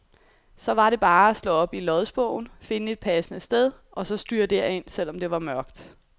Så var det bare at slå op i lodsbogen, finde et passende sted, og så styre derind, selv om det var mørkt.